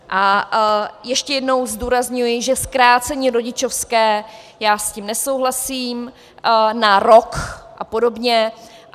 A ještě jednou zdůrazňuji, že zkrácení rodičovské, já s tím nesouhlasím, na rok a podobně.